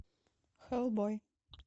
хеллбой